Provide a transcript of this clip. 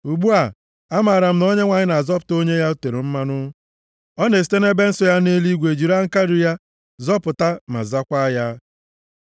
Ugbu a, amaara m na Onyenwe anyị na-azọpụta onye ya o tere mmanụ; ọ na-esite nʼebe nsọ ya nʼeluigwe jiri aka nri ya, zọpụta ma zakwaa ya.